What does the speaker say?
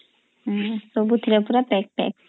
ସବୁଥିରେ ପୁରା ପେକ୍ ପେକ୍